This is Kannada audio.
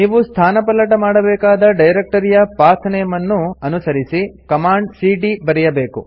ನೀವು ಸ್ಥಾನಪಲ್ಲಟ ಮಾಡಬೇಕಾದ ಡೈರೆಕ್ಟರಿಯ ಪಾತ್ ನೇಮ್ ಅನ್ನು ಅನುಸರಿಸಿ ಕಮಾಂಡ್ ಸಿಡಿಯ ಬರೆಯಬೇಕು